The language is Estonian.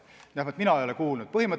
Vähemalt mina ei ole kuulnud, et oleks.